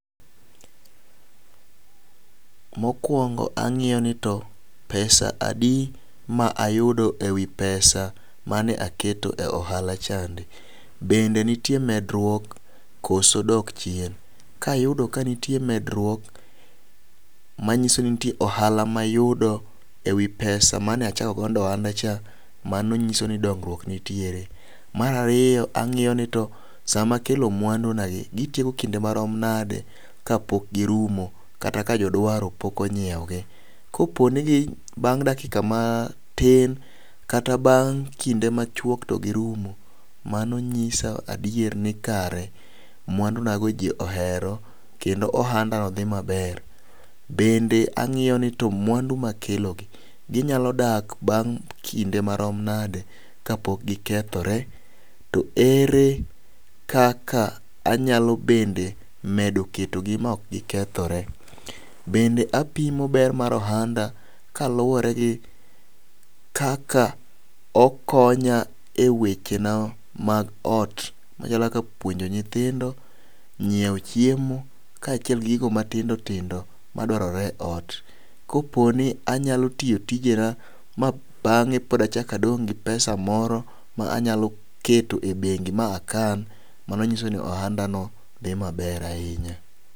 Mokwongo ang'iyo ni to pesa adi ma ayudo ewi pesa mane aketo e ohala chande .Bende nitie medruok koso dok chien kayudo ka nitie medruok manyiso ni nitie ohala mayudo ewi pesa mane achako go ohanda cha mano nyiso ni dongruok nitiere .Mar ariyo ang'iyo ni to sama akelo mwandu na gi kitieko kinde marom nade kapok girumo kata kapok jodwaro pok onyiewo gi .Koponi gi bang' dakika matin kata bang' kinde machuok to girumo mano ng'isa adier ni kaere mwandu na go ji ohero kendo ohanda no dhi maber. Bende ang'iyo ni to mwandu makelo gi gonyalo dak bang' kinde marom nade kapok gikethore to ere kaka anyalo bende medo keto gi ma ok gikethore. Bende apimo ber mar ohanda kaluwore gi kaka okonya eweche na mag ot machako kaka puonjo nyithindo, ng'iewo chiemo kaachiel kod gigo matindo tindo madwarore e ot. Koponi anyalo tiyo tijena ma bang'e pod achak adong gi pesa moro ma anyalo kete bendi ma akan, mano nyisa ni ohanda no dhi maber ahinya .